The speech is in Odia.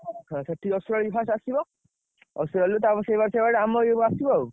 ହଁ ସେଠି ଅଶୁ ଭାଇ first ଆସିବ ଅଶୁ ଭାଇ ଆଇଲେ ତାପରେ ସେଇଭଳିଆ ସେଇଭଳିଆ ଆମ ଇଏ କୁ ଆସିବ ଆଉ।